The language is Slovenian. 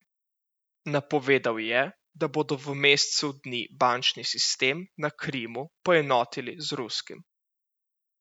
Napovedal je, da bodo v mesecu dni bančni sistem na Krimu poenotili z ruskim.